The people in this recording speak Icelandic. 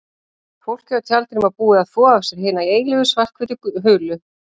Fólkið á tjaldinu var búið að þvo af sér hina eilífu svarthvítu hulu.